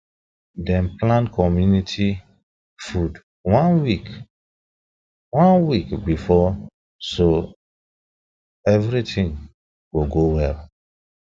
dem plan community food one week one week before so everything go go well